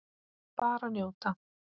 Bara njóta.